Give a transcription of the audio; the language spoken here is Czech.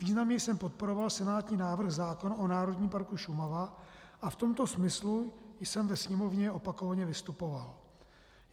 Významně jsem podporoval senátní návrh zákona o Národním parku Šumava a v tomto smyslu jsem ve Sněmovně opakovaně vystupoval.